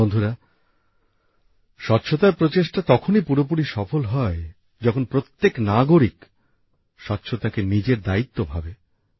বন্ধুরা স্বচ্ছতার প্রচেষ্টা তখনই পুরোপুরি সফল হয় যখন প্রত্যেক নাগরিক স্বচ্ছতাকে নিজের দায়িত্ব ভাবে